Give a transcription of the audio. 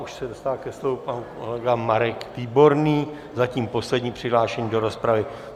Už se dostává ke slovu pan kolega Marek Výborný, zatím poslední přihlášený do rozpravy.